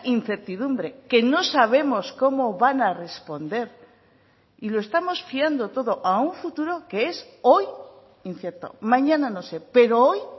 incertidumbre que no sabemos cómo van a responder y lo estamos fiando todo a un futuro que es hoy incierto mañana no sé pero hoy